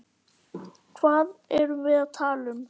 Hvað erum við að tala um?